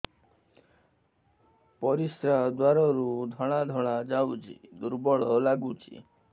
ପରିଶ୍ରା ଦ୍ୱାର ରୁ ଧଳା ଧଳା ଯାଉଚି ଦୁର୍ବଳ ଲାଗୁଚି